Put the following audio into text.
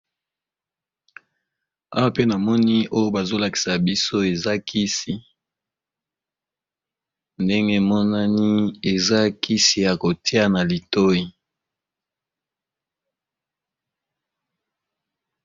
Awa pena moni oyo bazolakisa biso eza kisi ndenge monani eza kisi ya kotia na litoi.